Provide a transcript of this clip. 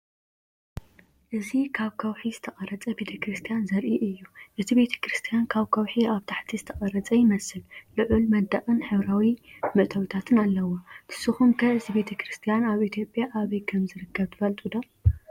እዚ ካብ ከውሒ ዝተቐርጸ ቤተ ክርስቲያን ዘርኢ እዩ። እቲ ቤተክርስትያን ካብ ከውሒ ኣብ ታሕቲ ዝተቐርጸ ይመስል፣ ልዑል መንደቕን ሕብራዊ መእተዊታትን ኣለዎ። ንስኩም ከ እዚ ቤተክርስትያን ኣብ ኢትዮጵያ ኣበይ ከም ዝርከብ ትፈልጡ ዶ?